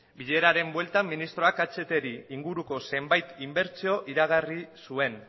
bileraren bueltan ministroak ahtren inguruko zenbait inbertsio iragarri zuen